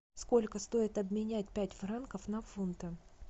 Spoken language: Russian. сколько стоит обменять пять франков на фунты